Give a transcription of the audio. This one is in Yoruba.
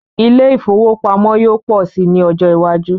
Ilé ifówópamọ́ yóò pọ̀ si ní ọjọ́ iwájú